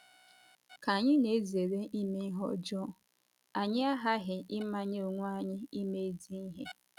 Ka anyị na - ezere ime ihe ọjọọ, anyị aghaghị ịmanye onwe anyị ime ezi ihe.